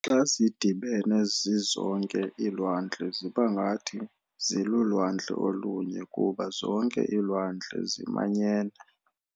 Xa zidibene zizonke, iilwandle zibangathi 'zilulwandle' olunye, kuba zonke iilwandle zimanyene.